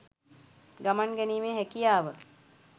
ගමන් ගැනීමේ හැකියාව.